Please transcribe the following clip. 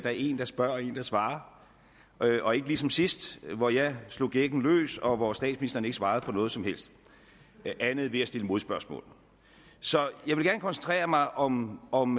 er en der spørger og en der svarer og ikke ligesom sidst hvor jeg slog gækken løs og hvor statsministeren ikke svarede på noget som helst andet end ved at stille modspørgsmål så jeg vil gerne koncentrere mig om om